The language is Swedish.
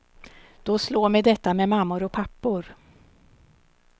Då slår mig detta med mammor och pappor.